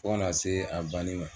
Fo ka na se a banni ma.